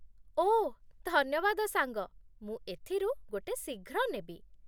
ଓଃ ଧନ୍ୟବାଦ ସାଙ୍ଗ, ମୁଁ ଏଥିରୁ ଗୋଟେ ଶୀଘ୍ର ନେବି।